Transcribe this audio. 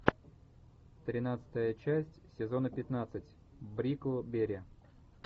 тринадцатая часть сезона пятнадцать бриклберри